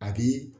A bi